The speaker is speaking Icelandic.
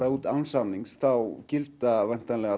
út án samnings þá gilda væntanlega